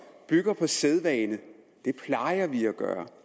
bygger på sædvane det plejer vi at gøre